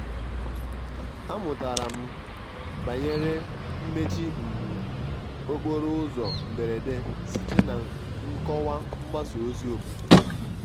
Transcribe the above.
amụtara m banyere mmechi um okporo ụzọ mberede site na nkọwa mgbasa ozi obodo